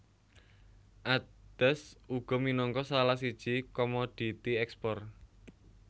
Adas uga minangka salah siji komoditi ekspor